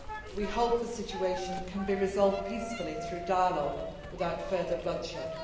We hope the situation can be resolved peacefully through dialogue without further bloodshed.